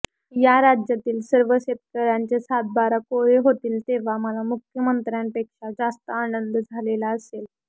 या राज्यातील सर्व शेतकऱयांचे सातबारा कोरे होतील तेव्हा मला मुख्यमंत्र्यांपेक्षा जास्त आनंद झालेला असेल